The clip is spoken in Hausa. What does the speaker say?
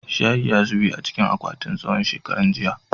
shayi ya zube a cikin akwatin tsawo shekaran jiya